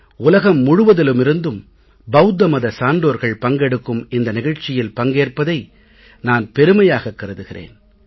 உலகம் முழுவதிலிமிருந்தும் பௌத்த மத சான்றோர்கள் பங்கெடுக்கும் இந்த நிகழ்ச்சியில் பங்கேற்பதை நான் பெருமையாகக் கருதுகிறேன்